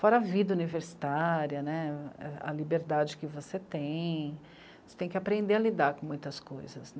Fora a vida universitária né, a liberdade que você tem, você tem que aprender a lidar com muitas coisas.